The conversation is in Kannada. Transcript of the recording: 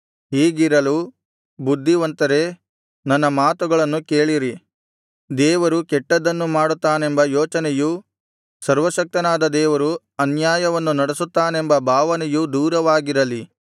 ಹೀಗಿರಲು ಬುದ್ಧಿವಂತರೇ ನನ್ನ ಮಾತುಗಳನ್ನು ಕೇಳಿರಿ ದೇವರು ಕೆಟ್ಟದ್ದನ್ನು ಮಾಡುತ್ತಾನೆಂಬ ಯೋಚನೆಯೂ ಸರ್ವಶಕ್ತನಾದ ದೇವರು ಅನ್ಯಾಯವನ್ನು ನಡೆಸುತ್ತಾನೆಂಬ ಭಾವನೆಯೂ ದೂರವಾಗಿರಲಿ